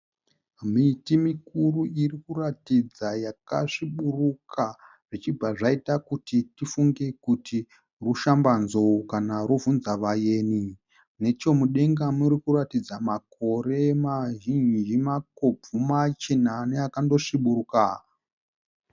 Miti mikuru iri kuratidza yakasviburuka zvichibva zvaita kuti tifunge kuti rushambanzou kana rubvunzavayeni. Nechomudenga muri kuratidza makore mazhinji, makobvu, machena neakando sviburuka.